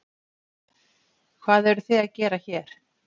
Hvað eruð þið að gera hér.